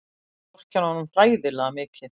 Ég vorkenni honum hræðilega mikið.